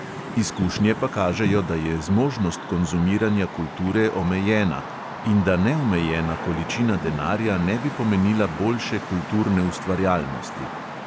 Izkušnje pa kažejo, da je zmožnost konzumiranja kulture omejena in da neomejena količina denarja ne bi pomenila boljše kulturne ustvarjalnosti.